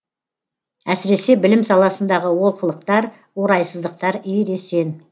әсіресе білім саласындағы олқылықтар орайсыздықтар ересен